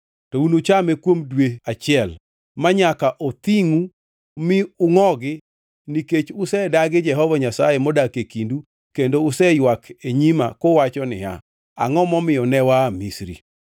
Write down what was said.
to unuchame kuom dwe achiel, manyaka othingʼu mi ungʼogi nikech usedagi Jehova Nyasaye modak e kindu kendo useywak e nyima, kuwacho niya, “Angʼo momiyo ne waa Misri?” ’”